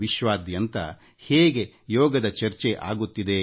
ವಿಶ್ವಾದ್ಯಂತ ಯೋಗದ ಚರ್ಚೆ ಆಗುತ್ತಿದೆ